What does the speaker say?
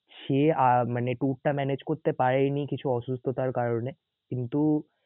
সে আহ মানে tour টা manage করতে পারে নি কিছু অসুস্থতার কারণে কিন্তু